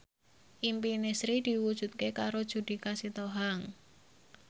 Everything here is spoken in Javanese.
impine Sri diwujudke karo Judika Sitohang